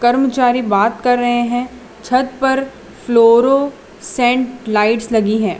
कर्मचारी बात कर रहे हैं छत पर फ़लोरो सेंट लाइट्स लगी है।